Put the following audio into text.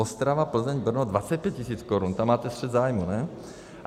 Ostrava, Plzeň, Brno 25 tisíc korun, tam máte střet zájmů, ne?